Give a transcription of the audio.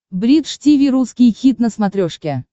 бридж тиви русский хит на смотрешке